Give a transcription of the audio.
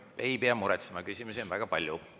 Te ei pea muretsema, küsimusi on väga palju.